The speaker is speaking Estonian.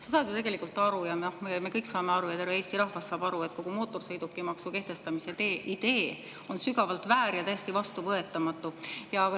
Sa saad ju tegelikult aru ja me kõik saame aru ja terve Eesti rahvas saab aru, et kogu mootorsõidukimaksu kehtestamise idee on sügavalt väär ja täiesti vastuvõetamatu.